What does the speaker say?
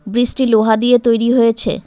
Bridge -টি লোহা দিয়ে তৈরি হয়েছে।